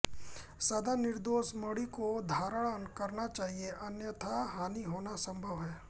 सदा निर्दोष मणि को धारण करना चाहिए अन्यथा हानि होना सम्भव है